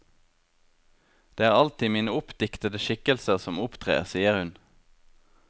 Det er alltid mine oppdiktede skikkelser som opptrer, sier hun.